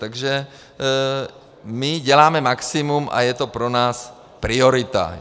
Takže my děláme maximum a je to pro nás priorita.